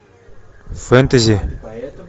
фэнтези